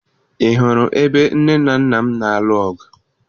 Ị hụrụ ebe nne na nna m na-alụ ọgụ?